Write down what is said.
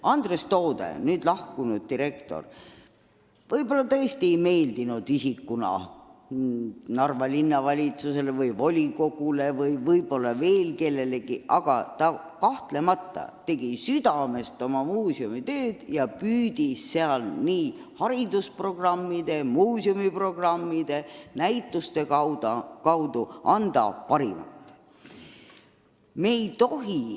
Andres Toode, nüüdseks lahkunud direktor, võib-olla tõesti ei meeldinud isikuna Narva Linnavalitsusele või volikogule või võib-olla veel kellelegi, aga ta kahtlemata tegi oma muuseumitööd südamest ja püüdis seal nii haridusprogramme, muuseumiprogramme kui ka näitusi korraldades anda oma parima.